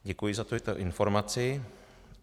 Děkuji za tuto informaci.